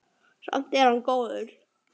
Samt er hann góður.